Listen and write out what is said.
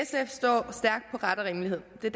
det